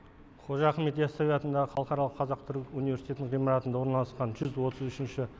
қожа ахмет ясауи атындағы халықаралық қазақ түрік университетінің ғимаратында орналасқан жүз отыз үшінші